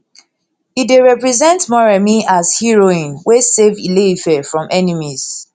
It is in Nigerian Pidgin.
e dey represent moremi as heroine wey save ile ife from enemies